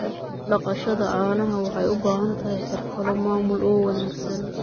Dhaqashada caanaha waxay u baahan tahay xirfado maamul oo wanaagsan.